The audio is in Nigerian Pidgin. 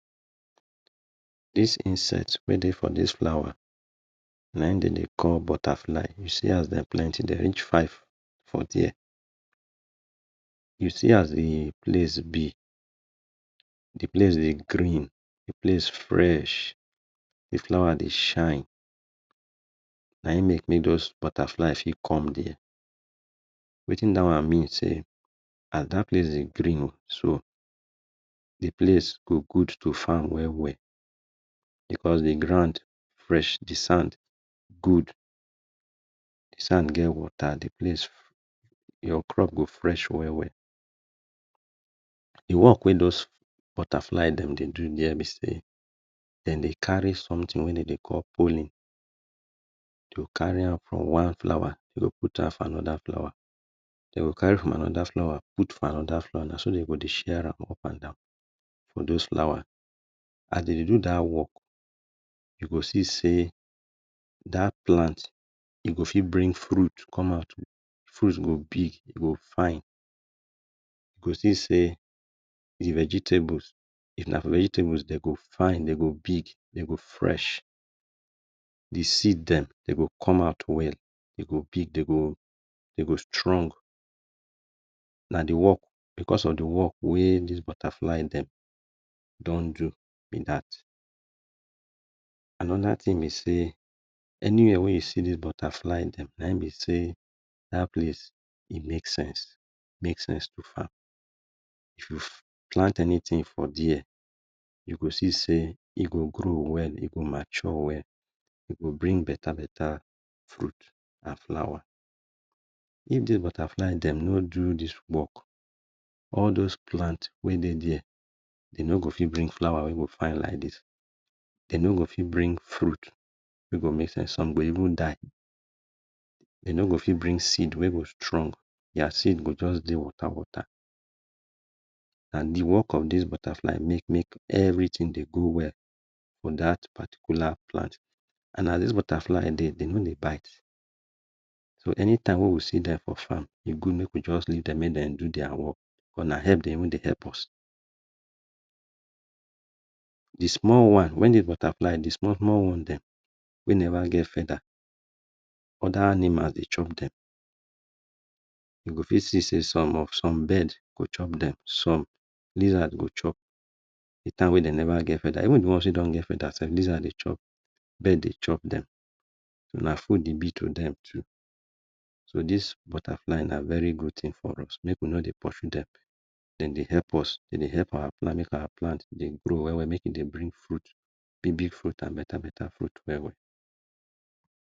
This insect wey dey this flower na im dem dey call butterfly. See and dem plenty dey reach five for there. You see am dey place be. De place dey green, de place de fresh. De flower dey fresh na him make make those butterfly fit come there. As that place dey green so, de place go good to farm well well. Because de ground fresh, de sand good e get wata. At least your crop go fresh well. The work wey those butterfly dem dey do be sey dem dey carry something wey dem dey call pollen go carry am from one flower to put am for another flower. Dem go carry am from another flower put for another flower. Na so dem go dey share am up and down for those flower. As dem dey do that work you go see sey that plant e go fit bring fruit come out fruit go big, e go fine. E go see sey de vegetables, if na for vegetables e go fine dem go big, dey go fresh. The seed dem, dey go come out well dey go big, e go strong. Na de work wey this butterfly dem don do be that. Another thing be sey anyway wey you see this butterfly dem, na him be sey that place e make sense. If you plant anything from there, you go see sey e go grow well, e go mature well. E go bring beta beta fruit and flower. If de butterfly dem no do this work, all those plant wey dey there, dey no go fit bring flower wey go fine like this. Dey no go fit bring fruit wey go make sense. Some go even die. Dey no go fit bring seed wey go strong, their seed go just dey wata wata and de work of these butterflies make everything dey go well for that particular plant. And nathis butterfly dem, dey no dey bite so anytime wey we see dem for farm e good make we just leave dem make dem do their work cos na help weydey even dey help us. De small one when de butterfly de small small one dem wey never get feather other animal dey chop dem e go fit see sey some of some birds go chop dem some lizard go chop de time wey dem never get feather even de ones wey don get feather lizards dey chop, birds dey chop dem. Na good e be to dem too. So this butterfly na very good thing for us, make we no dey pursue dem, dem dey help us manage our plant, dem dey help our plants make our plant de grow well well dey bring fruit big big fruit and beta beta fruit well well.